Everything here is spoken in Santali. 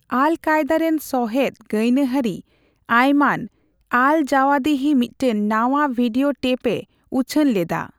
ᱟᱞᱼᱠᱟᱭᱮᱫᱟ ᱨᱮᱱ ᱥᱚᱦᱮᱫ ᱜᱟᱭᱱᱟᱦᱟᱨᱤ ᱟᱭᱢᱟᱱ ᱟᱞᱼᱡᱟᱣᱟᱦᱤᱨᱤ ᱢᱤᱫᱴᱟᱝ ᱱᱟᱣᱟ ᱵᱷᱤᱰᱤᱭᱳ ᱴᱮᱹᱯ ᱮ ᱩᱪᱷᱟᱹᱱ ᱞᱮᱫᱟ ᱾